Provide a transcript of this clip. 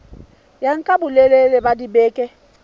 ya nka bolelele ba dibeke